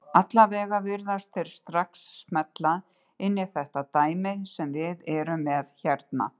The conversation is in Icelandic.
Allavega virðast þeir strax smella inn í þetta dæmi sem við erum með hérna.